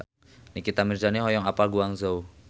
Nikita Mirzani hoyong apal Guangzhou